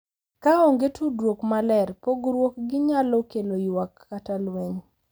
Ka onge tudruok maler, pogruok gi nyalo kelo ywak kata lweny.